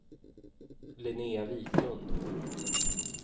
Linnea Viklund